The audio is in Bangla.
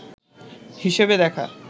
হিসেবে দেখা